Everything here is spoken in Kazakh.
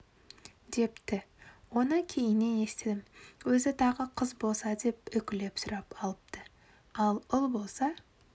депті оны кейіннен естідім өзі тағы қыз болса деп үкілеп сұрап алыпты ұл болса былай